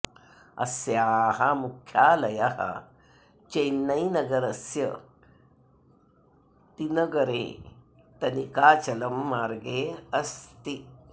अस्याः मुख्यालयः चेन्नै नगरस्य टि नगरे तनिकाचलं मार्गे अस्ति